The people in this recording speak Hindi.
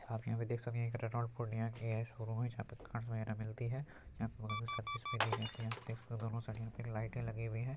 आप यहाँ पे देख सकते हैं रेनॉल्ट पूर्णिया की शोरूम है यहाँ पे मिलती है | आप यहाँ पे बगल में सर्विस भी दी जाती है देख सकते हो दोनों साइड में कितनी लाइटें लगी हुई है ।